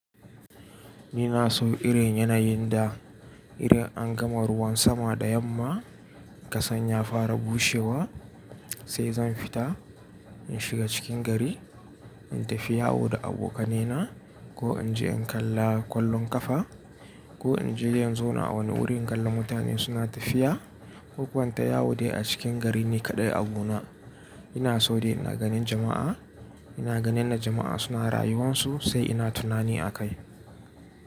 Ina so irin yanayin da idan an gama ruwan sama da yamma kasan ya fara bushewa sai zan fita in shiga cikin gari in tafi yawo da abokaina ko in je in kalla ƙwallon ƙafa ko in je in zauna a wani wurin in kallon mutane suna tafiya. Koko inta yawo dai a cikin gari ne kaɗai abu na. Ina so dai ina ganin jama'a, ina ganin jama'a suna rayuwansu sai ina tunani akai.